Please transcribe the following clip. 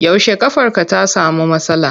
Yaushe ƙafarka ta samu matsala.